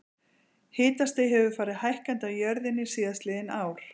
Hitastig hefur farið hækkandi á jörðinni síðastliðin ár.